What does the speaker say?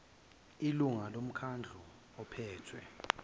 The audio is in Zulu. ilungu lomkhandlu ophethe